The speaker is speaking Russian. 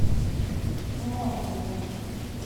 малковым